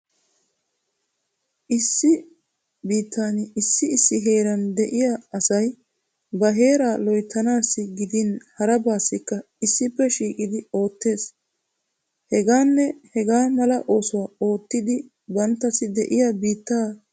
Issi biittani issi issi heeran de'iya asayi ba heera loyttanaassi gidin harabaassikka issippe shiiqidi oottees. Hegaanne hegaa mala oosuwa oottiiddi banttassi de'iya biittaa siiquwa qonccissoosona.